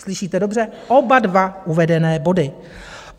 Slyšíte dobře, oba dva uvedené body.